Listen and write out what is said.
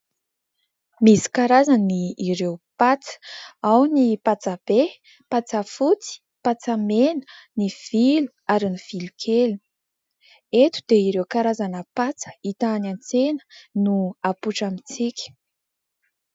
Misy karazany ireo patsa. Ao ny patsa be, patsa fotsy, patsa mena, ny vilo ary ny vilo kely. Eto dia ireo karazana patsa hita any an-tsena no apoitra amintsika.